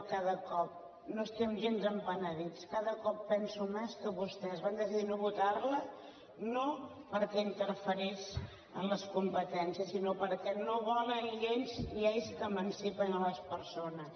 cada cop no n’estem gens penedits cada cop penso més que vostès van decidir no votar la no perquè interferís amb les competències sinó perquè no volen lleis que emancipen les persones